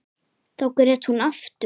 Þá grét hún aftur.